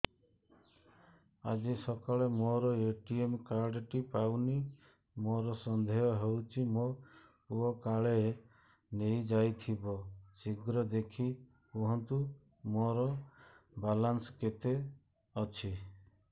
ଆଜି ସକାଳେ ମୋର ଏ.ଟି.ଏମ୍ କାର୍ଡ ଟି ପାଉନି ମୋର ସନ୍ଦେହ ହଉଚି ମୋ ପୁଅ କାଳେ ନେଇଯାଇଥିବ ଶୀଘ୍ର ଦେଖି କୁହନ୍ତୁ ମୋର ବାଲାନ୍ସ କେତେ ଅଛି